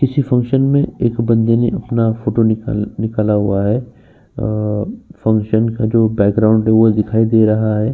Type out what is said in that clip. किसी फंक्शन में एक बंदे ने अपना फोटो निकाल निकाला हुआ है। अ फंक्शन का जो बैकग्राउंड है वो दिखाई दे रहा है।